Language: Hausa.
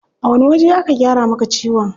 A wani waje aka gyara maka ciwon?